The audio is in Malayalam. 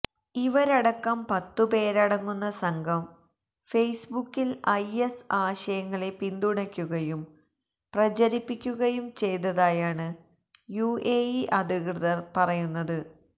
ഇവരടക്കം പത്തുപേരടങ്ങുന്ന സംഘം ഫെയ്സ്ബുക്കില് ഐഎസ് ആശയങ്ങളെ പിന്തുണയ്ക്കുകയും പ്രചരിപ്പിക്കുകയും ചെയ്തതായാണ് യുഎഇ അധികൃതര് പറയുന്നത്